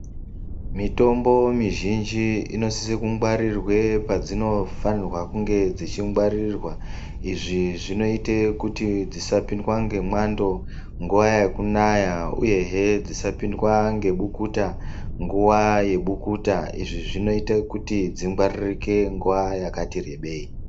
Mitombo muzhinji inosise kungwarirwe padzinofanirwe kunge dzichingwarirwa. Izvi zvinote kuti dzisapindzwa ngemwando nguva yekunaya, uyehe dzisapindwa ngebukuta nguva yebukuta. Izvi zvinotekuti dzingwaririke nguva yakati rebei.